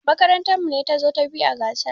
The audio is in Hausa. Makarantar mu ce tazo ta biyu a gasar.